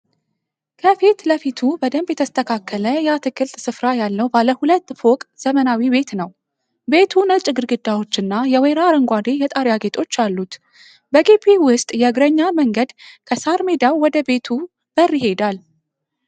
ከፊት ለፊቱ በደንብ የተስተካከለ የአትክልት ስፍራ ያለው ባለ ሁለት ፎቅ ዘመናዊ ቤት ነው። ቤቱ ነጭ ግድግዳዎች እና የወይራ አረንጓዴ የጣሪያ ጌጦች አሉት። በግቢው ውስጥ የእግረኛ መንገድ ከሣር ሜዳው ወደ ቤቱ በር ይሄዳል።